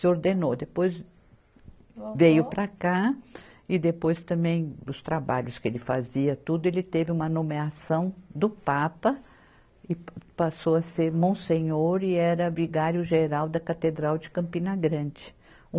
Se ordenou, depois veio para cá e depois também dos trabalhos que ele fazia tudo, ele teve uma nomeação do Papa e passou a ser Monsenhor e era Vigário-Geral da Catedral de Campina Grande.